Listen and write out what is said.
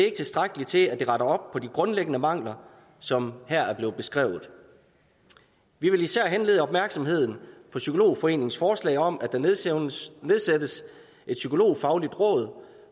ikke tilstrækkeligt til at det retter op på de grundlæggende mangler som her er blevet beskrevet vi vil især henlede opmærksomheden på psykologforeningens forslag om at der nedsættes nedsættes et psykologfagligt råd